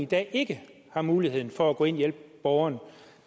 i dag ikke har mulighed for at gå ind og hjælpe borgeren